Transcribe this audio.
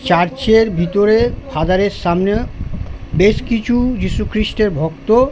church এর ভিতরে father -এর সামনে বেশ কিছু যীশু খ্রীষ্টের ভক্ত --